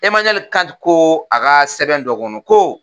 Emaniɛali Kanti ko a ka sɛbɛn dɔ kɔnɔ ko